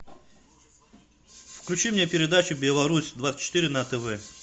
включи мне передачу беларусь двадцать четыре на тв